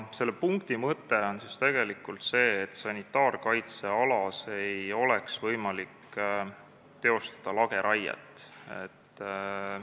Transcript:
Selle punkti mõte on tegelikult see, et sanitaarkaitsealas ei oleks võimalik teha lageraiet.